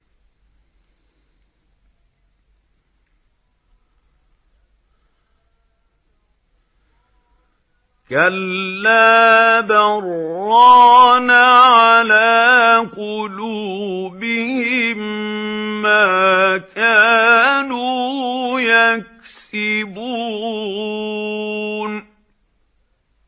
كَلَّا ۖ بَلْ ۜ رَانَ عَلَىٰ قُلُوبِهِم مَّا كَانُوا يَكْسِبُونَ